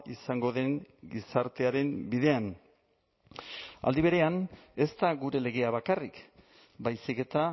izango den gizartearen bidean aldi berean ez da gure legea bakarrik baizik eta